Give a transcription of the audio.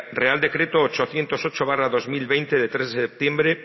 real decreto ochocientos ocho barra dos mil veinte de tres de septiembre